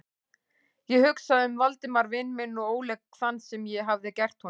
Ég hugsaði um Valdimar vin minn og óleik þann, sem ég hafði gert honum.